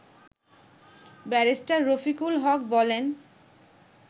barrister Rafiqul Haque বলেন